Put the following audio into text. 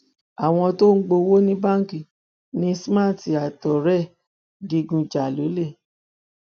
àwọn tó ń gbowó ní báńkì ni smart àtọrẹ ẹ ń digun jà lọlẹ